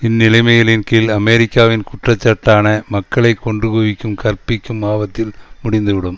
இந்த நிலைமைகளின் கீழ் அமெரிக்காவின் குற்றச்சாட்டான மக்களை கொன்று குவிக்கும் கற்பிற்கும் ஆபத்தில் முடிந்துவிடும்